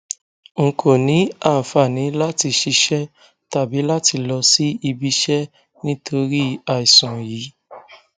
n kò ní àǹfààní láti ṣiṣẹ tàbí láti lọ sí ibiiṣẹ nítorí àìsàn yìí